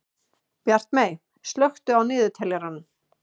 Bjartmey, slökktu á niðurteljaranum.